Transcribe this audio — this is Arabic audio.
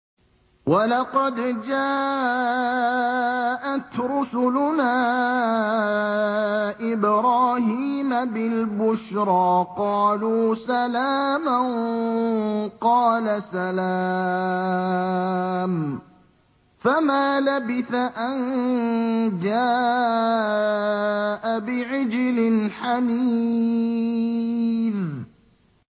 وَلَقَدْ جَاءَتْ رُسُلُنَا إِبْرَاهِيمَ بِالْبُشْرَىٰ قَالُوا سَلَامًا ۖ قَالَ سَلَامٌ ۖ فَمَا لَبِثَ أَن جَاءَ بِعِجْلٍ حَنِيذٍ